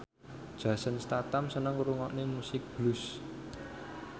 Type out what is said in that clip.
Jason Statham seneng ngrungokne musik blues